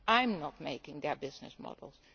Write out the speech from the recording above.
chair I am not making their business